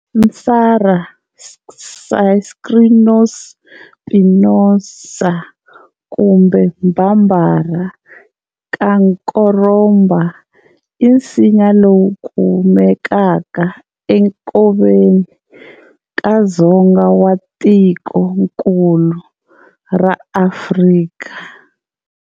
"Nsala, Strychnos spinosa" kumbe Bambara-"Kankoroba", i nsinya lowu kumeka e nkoveni na dzonga wa tikonkulu ra Afrika.